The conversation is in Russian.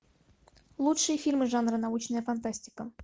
лучшие фильмы жанра научная фантастика